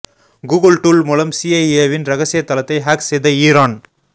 Google tool மூலம் சிஐஏவின் ரகசிய தளத்தை ஹேக் செய்த ஈரான்